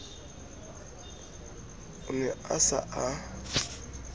o ne a sa a